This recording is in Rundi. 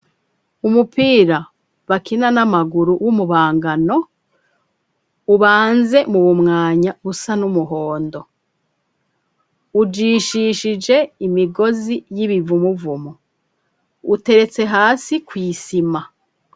Umupira bakina n'amaguru w'umubangano ubanze mu bumwanya busa n'umuhondo, ujijishije imigozi y'ibivumuvumu, iteretse hasi kw'isima.